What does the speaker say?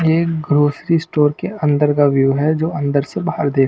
ये grocery store के अंदर का व्यू हैजो अंदर से बाहर देख--